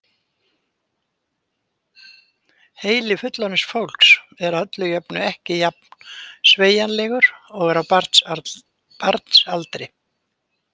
Heili fullorðins fólks er að öllu jöfnu ekki jafn sveigjanlegur og á barns aldri.